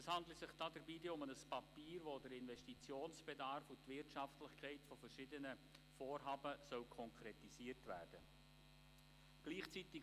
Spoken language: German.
Es handle sich dabei um ein Papier, in dem der Investitionsbedarf und die Wirtschaftlichkeit verschiedener Vorhaben konkretisiert werden sollen.